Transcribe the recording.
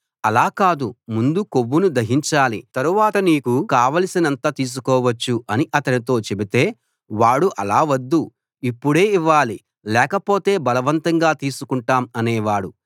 అలా కాదు ముందు కొవ్వును దహించాలి తరువాత నీకు కావలసినంత తీసికోవచ్చు అని అతనితో చెబితే వాడు అలా వద్దు ఇప్పుడే ఇవ్వాలి లేకపోతే బలవంతంగా తీసుకుంటాం అనేవాడు